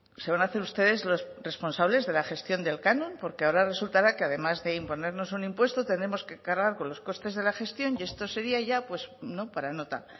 se van a hacer ustedes los responsables de la gestión del canon porque ahora resultará que además de imponernos un impuesto tenemos que cargar con los costes de la gestión y esto sería ya pues no para nota